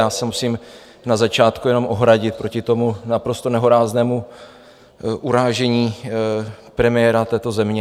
Já se musím na začátku jenom ohradit proti tomuto naprosto nehoráznému urážení premiéra této země.